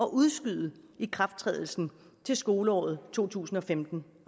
at udskyde ikrafttrædelsen til skoleåret to tusind og femten